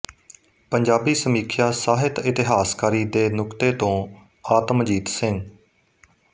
ਪੰਜਾਬੀ ਸਮੀਖਿਆ ਸਾਹਿਤ ਇਤਿਹਾਸਕਾਰੀ ਦੇ ਨੁਕਤ ਤੋਂ ਆਤਮ ਜੀਤ ਸਿੰਘ